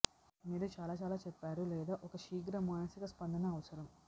మీరు చాలా చాలా చెప్పారు లేదు ఒక శీఘ్ర మానసిక స్పందన అవసరం